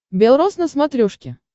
бел роз на смотрешке